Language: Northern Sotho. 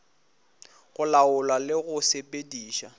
go laola le go sepediša